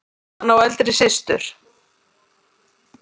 Hann á eldri systur.